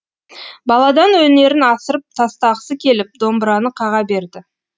баладан өнерін асырып тастағысы келіп домбыраны қаға берді